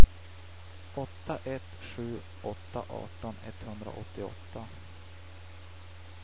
åtta ett sju åtta arton etthundraåttioåtta